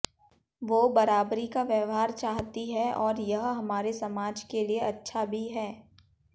वो बराबरी का व्यवहार चाहती हैं और यह हमारे समाज के लिए अच्छा भी है